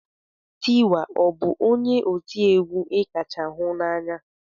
Tiwa ọ bụ onye ọ ti egwu ị kacha hunanya?